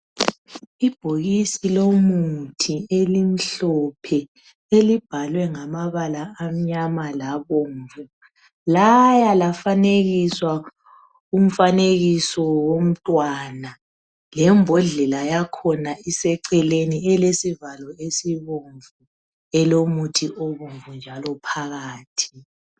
Ibhokisi lomuthi elimhlophe elibhalwe ngamabala amnyama labomvu laya lafanekiswa umfanekiso womntwana lembondlela yakhona iseceleni elesivalo esibomvu elomuthi obomvu njalo phakathi.